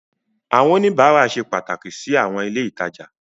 Àwọn oníbàárà ṣe pàtàkì sí àwọn ilé ìtajà.